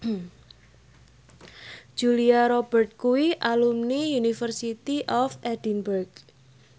Julia Robert kuwi alumni University of Edinburgh